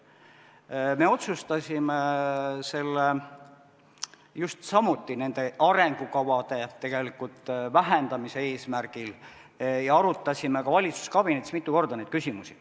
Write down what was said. Me otsustasime selle just arengukavade vähendamise eesmärgil ja arutasime ka valitsuskabinetis mitu korda neid küsimusi.